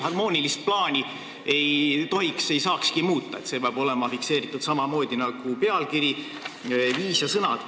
Harmoonilist plaani ei tohiks ega saakski muuta – see peab olema fikseeritud samamoodi nagu pealkiri, viis ja sõnad.